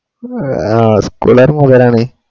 ആഹ് school കാര് മൊതലാണ്